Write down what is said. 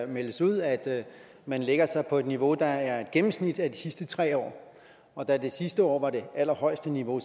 meldes ud at man lægger sig på et niveau der er et gennemsnit af de sidste tre år og da det sidste år var det allerhøjeste niveau